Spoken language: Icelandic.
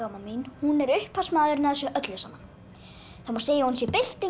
mín er upphafsmaðurinn að þessu öllu saman það má segja að hún sé byltingar